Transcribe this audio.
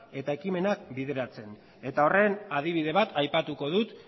eta ekimenak bideratzen horren adibide bat aipatuko dut